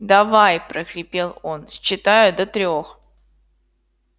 давай прохрипел он считаю до трёх